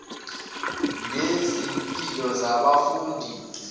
nezimpilo zabafundi ziphinde